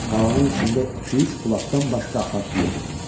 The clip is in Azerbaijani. Qalanın içində iki-üç bulaqdan başqa axar su yox idi.